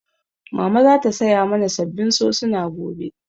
Mama za ta saya mana sabbin sosuna gobe